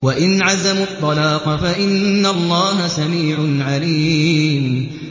وَإِنْ عَزَمُوا الطَّلَاقَ فَإِنَّ اللَّهَ سَمِيعٌ عَلِيمٌ